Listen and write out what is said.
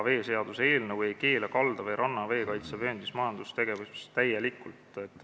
Veeseaduse eelnõu ei keela kalda või ranna veekaitsevööndis majandustegevust täielikult.